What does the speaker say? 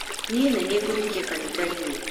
Niĩ nĩ niĩ ngũhunjia kanitha-inĩ